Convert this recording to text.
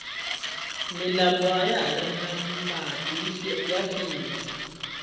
milambo ayahari na mati ya phyile